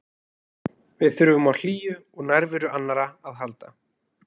Við þurfum á hlýju og nærveru annarra að halda.